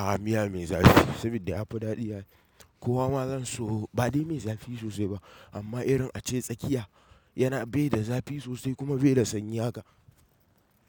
A miya mai zafi sabida ya fi daɗi ai. Kowa ma zan so ba dai mai zafi sosai ba amma irin ace tsakiya yana bai da zafi sosai kuma bai da sanyi haka.